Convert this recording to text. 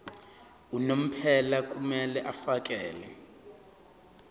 unomphela kumele afakele